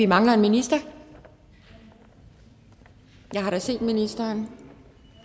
mangler en minister men jeg har da set ministeren